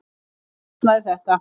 Enn versnaði þetta.